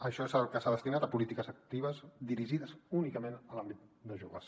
això és el que s’ha destinat a polítiques actives dirigides únicament a l’àmbit de joves